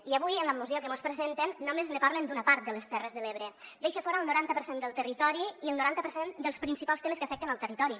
i avui en la moció que mos pre·senten només ne parlen d’una part de les terres de l’ebre deixa fora el noranta per cent del territori i el noranta per cent dels principals temes que afecten el territori